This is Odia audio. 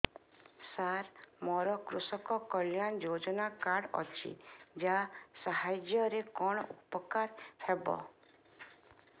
ସାର ମୋର କୃଷକ କଲ୍ୟାଣ ଯୋଜନା କାର୍ଡ ଅଛି ୟା ସାହାଯ୍ୟ ରେ କଣ ଉପକାର ହେବ